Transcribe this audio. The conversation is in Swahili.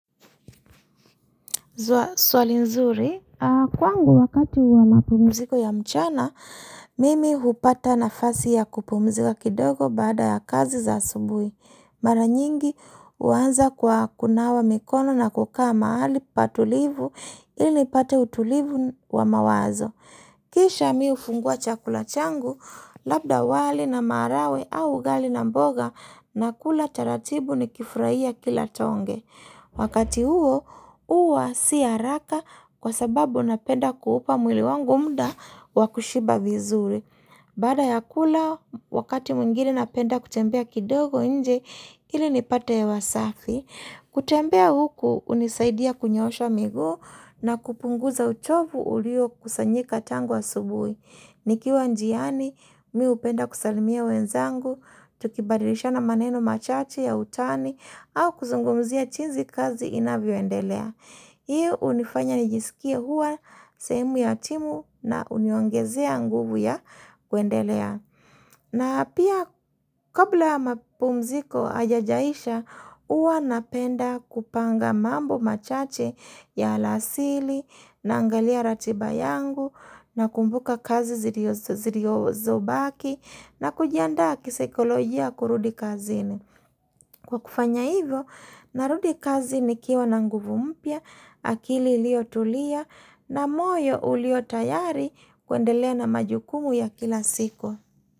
Swali nzuri, kwangu wakati wa mapumziko ya mchana, mimi hupata nafasi ya kupumzika kidogo baada ya kazi za asubuhi. Mara nyingi huanza kwa kunawa mikono na kukaa mahali patulivu ili nipate utulivu wa mawazo. Kisha mimi hufungua chakula changu, labda wali na maragwe au ugali na mboga, na kula taratibu nikifurahia kila tonge. Wakati huo, huwa si haraka, kwa sababu napenda kuupa mwili wangu muda wa kushiba vizuri. Baada ya kula, wakati mwingine napenda kutembea kidogo nje ili nipate hewa safi. Kutembea huku, hunisaidia kunyoosha miguu, na kupunguza uchovu uliokusanyika tangu asubuhi. Nikiwa njiani mimi hupenda kusalimia wenzangu, tukibadilishana maneno machache ya utani au kuzungumzia jinsi kazi inavyoendelea. Hii hunifanya nijisikie huwa sehemu ya timu na huniongezea nguvu ya kuendelea. Na pia kabla ya mapumziko hayajaisha huwa napenda kupanga mambo machache ya alasiri, naangalia ratiba yangu, nakumbuka kazi ziliozobaki, na kujiandaa kisaikolojia kurudi kazini. Kwa kufanya hivyo, narudi kazi nikiwa na nguvu mpya, akili iliyo tulia, na moyo ulio tayari kuendelea na majukumu ya kila siku.